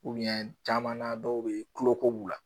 caman na dɔw bɛ kuloko b'u la